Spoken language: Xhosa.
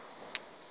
aba boba ngoo